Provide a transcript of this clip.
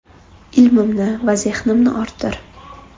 Ilmimni va zehnimni orttir.